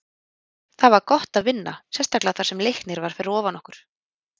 Það var gott að vinna, sérstaklega þar sem Leiknir var fyrir ofan okkur.